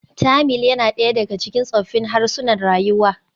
Tamil yana ɗaya daga cikin tsoffin harsunan rayuwa.